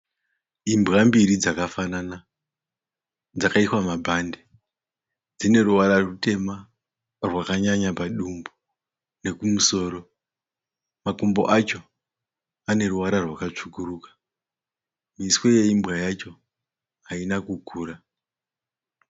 Imbwa mbiri dzakafanana. Dzakaiswa mabhadhi. Dzineruvara rutema rwakanyanya padumbu nekumusoro. Makumbo acho aneruvara rwakatsvukuruka. Muswe yembwa yacho haina kukura.